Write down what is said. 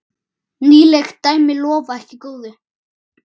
Nýleg dæmi lofa ekki góðu.